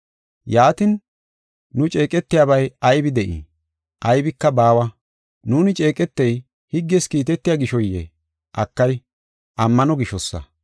Yaatin, nu ceeqetiyabay aybi de7ii? Aybika baawa. Nuuni ceeqetey higges kiitetiya gishoyee? Akay! Ammano gishosa.